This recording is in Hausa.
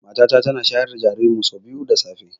Mata ta tana shayar da jaririn mu sau biyu da safe